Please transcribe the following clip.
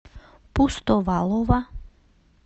пустовалова